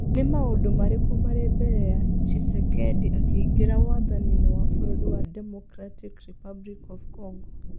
Nĩ maũndũ marĩkũ marĩ mbere ya Tchisekedi akĩingĩra wathani-inĩ wa Bũrũri wa Democratic Republic of Congo?